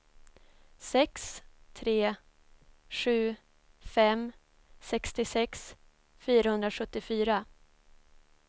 sex tre sju fem sextiosex fyrahundrasjuttiofyra